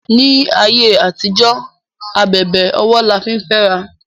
ní àyè àtijó ábèbè ọwọ là fín fé àrà